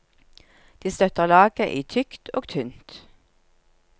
De støtter laget i tykt og tynt.